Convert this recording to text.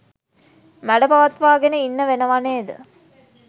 මැඩපවත්වාගෙන ඉන්න වෙනව නේද?